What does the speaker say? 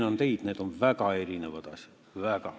Veenan teid: need on väga erinevad asjad.